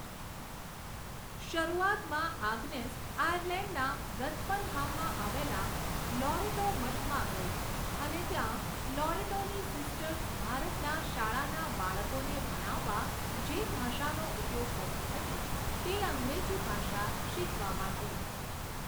શરૂઆતમાં આગ્નેસ આર્યલેન્ડના રથફર્નહામમાં આવેલા લોરેટો મઠમાં ગઈ અને ત્યાં લોરેટોની સિસ્ટર્સ ભારતના શાળાના બાળકોને ભણાવવા જે ભાષાનો ઉપયોગ કરતી હતી તે અંગ્રેજી ભાષા શીખવા માંડી.